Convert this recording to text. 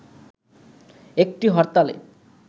একটি হরতালে